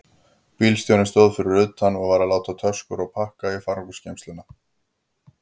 Bílstjórinn stóð fyrir utan og var að láta töskur og pakka í farangursgeymsluna.